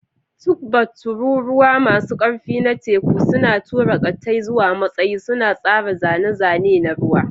Tugboats, tururuwa masu ƙarfi na teku, suna tura ƙattai zuwa matsayi, suna tsara zane-zane na ruwa.